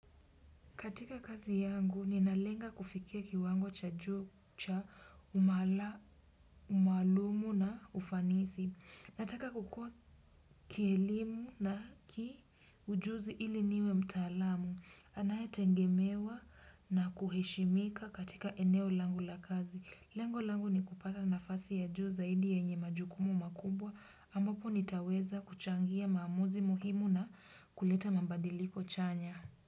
Katika kazi yangu, ninalenga kufikia kiwango cha juu cha umaalumu na ufanisi. Nataka kukua kielimu na kiujuzi ili niwe mtaalamu. Anayetegemewa na kuheshimika katika eneo langu la kazi. Lengo langu ni kupata nafasi ya juu zaidi yenye majukumu makubwa, ambapo nitaweza kuchangia maamuzi muhimu na kuleta mabadiliko chanya.